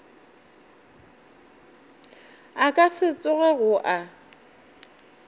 a ka se tsogego a